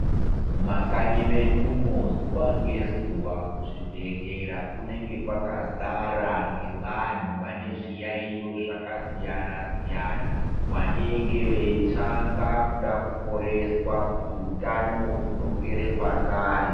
Mumakanyi medumo zuwa ngezuwa kuzvibhehlera kunenge kwakazara ngevantu vane zviyaiyo zvakasiyana -siyana, vanenge veitsvanga kuda kuporeswa kuti utano hudzokere pakare.